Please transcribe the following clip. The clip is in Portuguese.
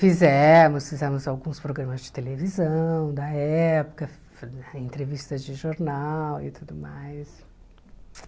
Fizemos, fizemos alguns programas de televisão da época, entrevistas de jornal e tudo mais.